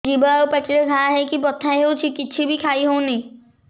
ଜିଭ ଆଉ ପାଟିରେ ଘା ହେଇକି ବଥା ହେଉଛି କିଛି ବି ଖାଇହଉନି